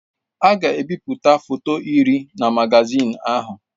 A ga-ebipụta foto iri na magazin ahụ.